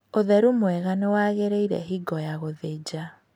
Ũtheru mwega nĩwagĩrĩire hingo ya gũthĩnja